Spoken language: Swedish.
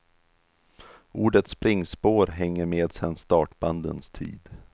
Ordet springspår hänger med sen startbandens tid.